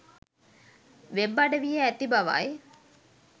web අඩවියේ ඇති බවයි